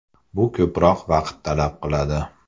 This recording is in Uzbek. Bu ko‘proq vaqt talab qiladi.